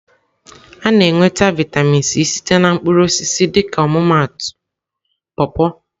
A na-enweta vịatamin C site na mkpụrụ osisi dịka ọmụmaatụ paw-paw.